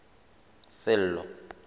sello